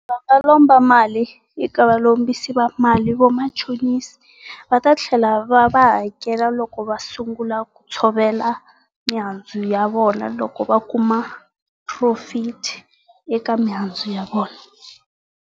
wo lomba mali eka valombisi va mali vamachonisi, va ta tlhela va va hakela loko va sungula ku tshovela mihandzu ya vona loko va kuma profit eka mihandzu ya vona.